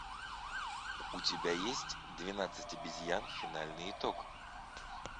у тебя есть двенадцать обезьян финальный итог